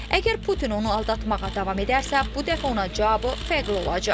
Əgər Putin onu aldatmağa davam edərsə, bu dəfə ona cavabı fərqli olacaq.